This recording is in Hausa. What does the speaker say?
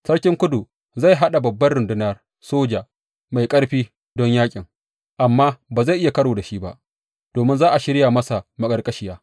Sarkin kudu zai haɗa babbar rundunar soja mai ƙarfi don yaƙin, amma ba zai iya karo da shi ba, domin za a shirya masa maƙarƙashiya.